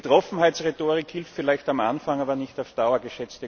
müssen. Betroffenheitsrhetorik hilft vielleicht am Anfang, aber nicht